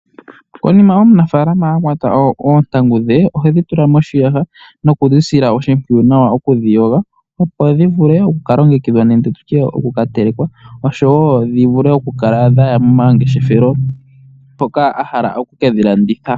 Konima omunafalama akwata oontangu dhe ohedhi tula moshiyaha nokudhisila oshimpwiyu nawa tedhiyogo opo dhi vule okuka longekidhwa nenge okuka telekwa oshowo dhivule okukala dhaya momangeshefelo mpoka ahala okukefhi landitha.